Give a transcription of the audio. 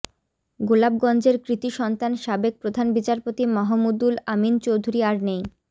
গোলাপগঞ্জের কৃতি সন্তান সাবেক প্রধান বিচারপতি মাহমুদুল আমীন চৌধুরী আর নেই